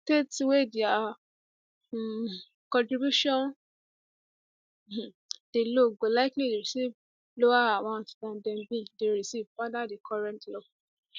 states wey dia um contribution um dey low go likely receive lower amount dan dem bin dey receive under di current law